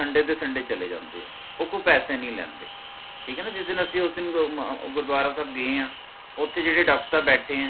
sunday ਦੇ sunday ਚਲੇ ਜਾਂਦੇ ਹੈ ਓਹ ਕੋਈ ਪੈਸੇ ਨਹੀ ਲੇਂਦੇ ਠੀਕ ਹੈ ਨਾ ਜਿਸ ਦਿਨ ਅਸੀ ਓਸ ਦਿਨ ਗੁਰਦਵਾਰਾ ਸਾਹਿਬ ਗਏ ਹੈ ਓਹ੍ਠੇ ਜੇਹੜੇ doctor ਸਾਹਬ ਬੈਠੇ ਹੈ